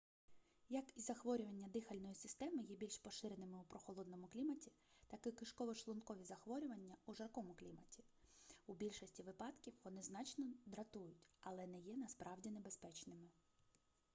як і захворювання дихальної системи є більш поширеними у прохолодному кліматі так і кишково-шлункові захворювання у жаркому кліматі у більшості випадків вони значно дратують але не є насправді небезпечними